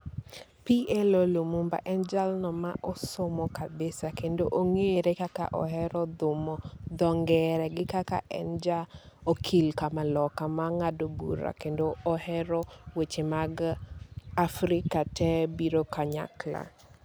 P. L. O. Lumunba en jalno ma osomo kabisa kendo ong'ere kaka ohero dhumo dho ngere gi kaka en ja okil kamaloka ma ng'ado bura kendo ohero weche mag Afrika te biro kanyakla.